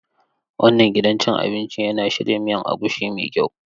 Wannan gidan cin abinci yana shirya miya agushi mai kyau.